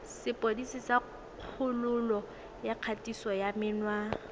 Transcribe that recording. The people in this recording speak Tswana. sepodisi sa kgololo ya kgatisomenwa